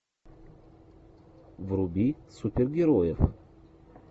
вруби супергероев